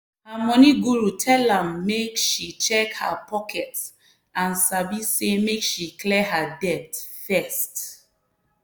her money guru tell am make she check her pocket and sabi say make she clear her debt first.